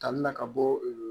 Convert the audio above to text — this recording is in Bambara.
Tali na ka bɔ ee